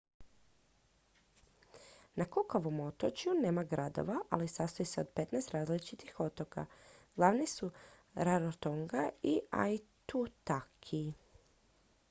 na cookovom otočju nema gradova ali sastoji se od 15 različitih otoka glavni su rarotonga i aitutaki